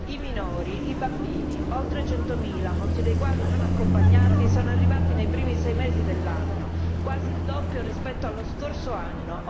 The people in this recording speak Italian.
I minori, i bambini, oltre centomila, molti dei quali non accompagnati sono arrivati nei primi sei mesi dell'anno, quasi il doppio rispetto allo scorso anno.